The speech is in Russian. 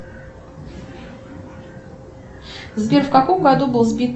сбер в каком году был сбит